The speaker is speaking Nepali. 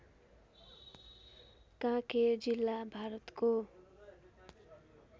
कांकेर जिल्ला भारतको